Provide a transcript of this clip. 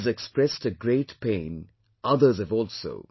He has expressed a great pain, others have also